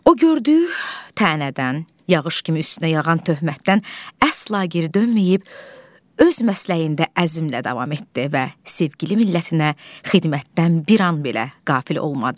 O gördüyü tənədən, yağış kimi üstünə yağan töhmətdən əsla geri dönməyib, öz məsləyində əzmlə davam etdi və sevgili millətinə xidmətdən bir an belə qafil olmadı.